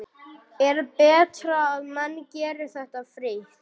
Er betra að menn geri þetta frítt?